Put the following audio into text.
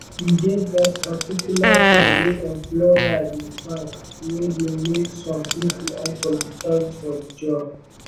e get that particular thing wey employer de find wey de make some pipo unqualified for the job